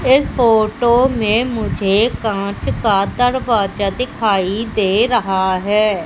इस फोटो में मुझे कांच का दरवाजा दिखाई दे रहा है।